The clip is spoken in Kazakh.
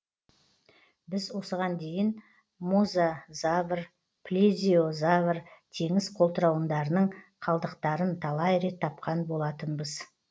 біз осыған дейін мозазавр плезиозавр теңіз қолтырауындарының қалдықтарын талай рет тапқан болатынбыз